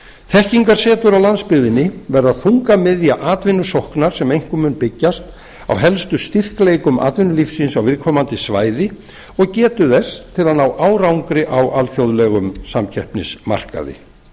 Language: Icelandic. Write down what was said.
þekkingarsetur á landsbyggðinni verða þungamiðja atvinnusóknar sem einkum mun byggjast á helstu styrkleikum atvinnulífsins á viðkomandi svæði og getu þess til að ná árangri á alþjóðlegum samkeppnismarkaði